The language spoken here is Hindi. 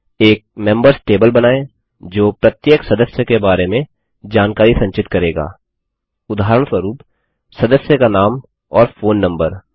एक मेम्बर्स टेबल बनायें जो प्रत्येक सदस्य के बारे में जानकारी संचित करेगा उदाहरणस्वरूप सदस्य का नाम और फोन नम्बर